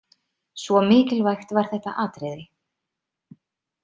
Svo mikilvægt var þetta atriði.